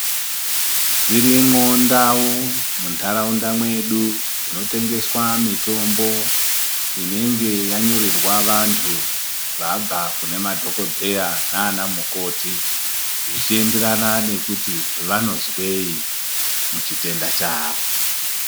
Dzirimwo ndau munharaunda mwedu dzinotengeswa mitombo inenge yanyorerwa vantu vabva kunanadhokodheya nanamukoti zvechiendera nekuti vanozwei muchitenda chavo.